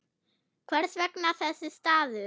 Hvers vegna þessi staður?